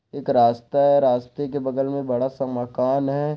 एक रास्ता है रास्ते के बगल में बड़ा सा मकान है।